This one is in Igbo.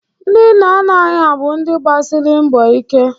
Ndị nna nna anyị ha bụ ndị gbasịrị mbọ ike.